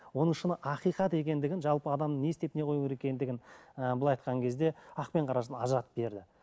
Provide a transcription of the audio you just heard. оның шын ақиқат екендігін жалпы адам не істеп не қою керек екендігін ыыы быйлай айтқан кезде ақ пен қарасын ажыратып берді